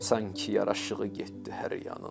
Sanki yaraşığı getdi hər yanın.